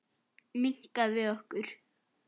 Minnka við okkur.